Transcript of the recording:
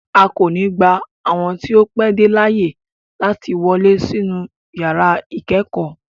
A ko ni gba awọn ti o pẹ de laaye lati wọle sinu yara ikẹkọ